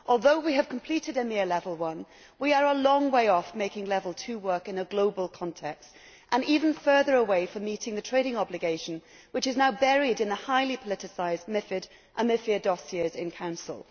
Although we have completed EMIR level 1, we are a long way off making level 2 work in a global context, and even further away from meeting the trading obligation, which is now buried in the highly politicised MiFID and MiFIR dossiers in Council.